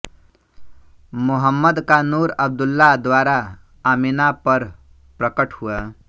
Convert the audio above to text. मुहम्मद का नूर अब्दुल्ला द्वारा आमिना पर प्रकट हुवा